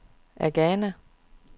Agana